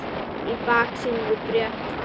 Í baksýn eru brött fjöll.